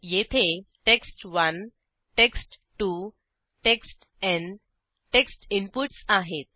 येथे text one text two टेक्स्टन text inputs आहेत